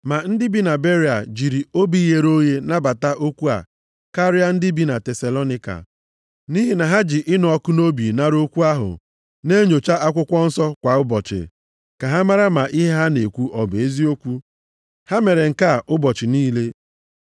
Ma ndị bi na Beria jiri obi ghere oghe nabata okwu a karịa ndị bi na Tesalonaịka. Nʼihi na ha ji ịnụ ọkụ nʼobi nara okwu ahụ, na-enyocha Akwụkwọ Nsọ kwa ụbọchị, ka ha mara ma ihe ha na-ekwu ọ bụ eziokwu. Ha mere nke a ụbọchị niile.